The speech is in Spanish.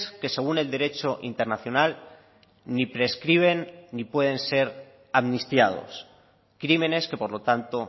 que según el derecho internacional ni prescriben ni pueden ser amnistiados crímenes que por lo tanto